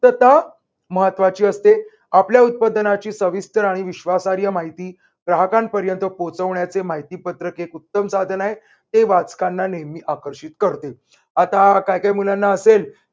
क्तता महत्वाची असते आपल्या उत्पादनाची सविस्तर आणि विश्वासहार्य माहिती ग्राहकांपर्यंत पोहोचण्याचे माहितीपत्रक एक उत्तम साधन आहे. ते वाचताना नेहमी आकर्षित करते. आता काय काय मुलांना असेल